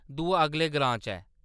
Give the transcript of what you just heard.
दूआ अगले ग्रां च ऐ।